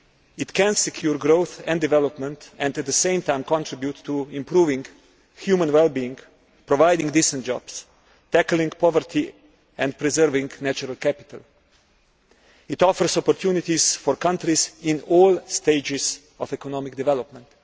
It can secure growth and development and, at the same time, contribute to improving human well being, providing decent jobs, tackling poverty and preserving natural capital. It offers opportunities for countries in all stages of economic development.